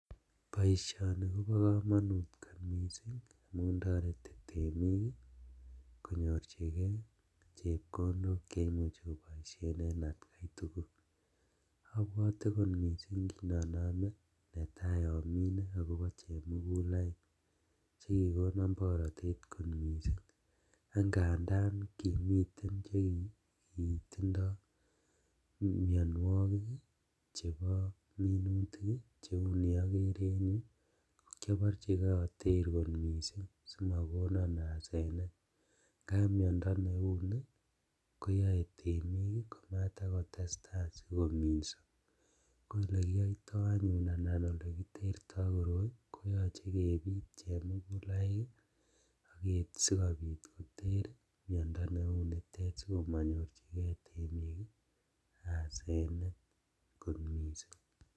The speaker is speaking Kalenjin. Boisioni kobo komonut kot misink amun toreti temik konyorjigee chepkondok cheimuche koboisien en atkaitugul, obwote kot misink kinonome netaa omine agobo chemugulaik chekikono borotet kot misink ak ngandan komiten chekitindo minuokik ii chebo minutik ii cheu ni okere en yu ko kioborjigee oter kot misink simokonon asenet, ngap miondo neu ni koyoe temindet komatakotestaa kominso koyekuyoito anyun anan yekiterto koyoche kebit chemugulaik sikobit koter miondo neunitet sikomonyorjigee temik asenet